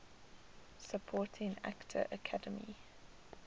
supporting actor academy